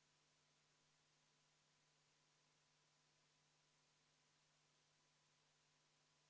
Nimelt näeb eelnõu ette Eesti kodakondsuse saamise või taastamise taotluse läbivaatamise eest riigilõivu tasumist varasema 13 euro asemel 150 eurot ehk teisisõnu on kasv rohkem kui 1100%.